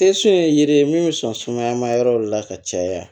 ye yiri min bɛ sɔn sumaya ma yɔrɔ la ka caya